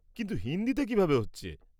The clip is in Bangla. কিন্তু হিন্দিতে কীভাবে হচ্ছে?